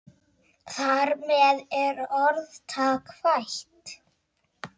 Þar með er orðtak fætt.